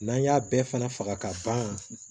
N'an y'a bɛɛ fana faga ka ban